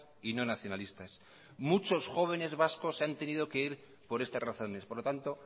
y no nacionalistas muchos jóvenes vascos se han tenido que ir por estas razones por lo tanto